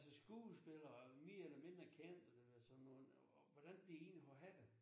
Altså skuespillere mere eller mindre kendte øh sådan nogen og hvordan de egentlig må have det